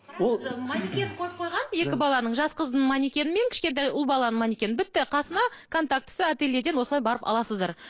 маникен қойып қойған екі баланың жас қыздың маникені мен кішкентай ұл баланың маникенін бітті қасына контактісі ательеден осылай барып аласыздар